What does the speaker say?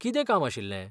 कितें काम आशिल्लें?